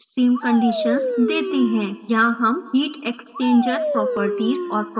यहाँ हम heat exchanger properties और property package देते हैं